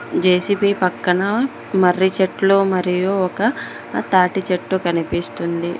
JCB పక్కన మర్రి చెట్లు మరియు ఒక తాటి చెట్టు కనిపిస్తుంది.